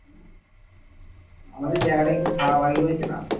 আমাদের জায়গাটা একটু ভাগাভাগি হয়েছে না?